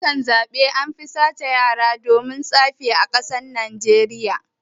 Lokutan siyasa anfi sace yara domin tsafi a najeriya